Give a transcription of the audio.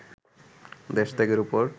দেশ ত্যাগের ওপর